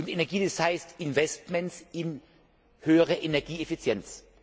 Energie, das heißt Investitionen in höhere Energieeffizienz.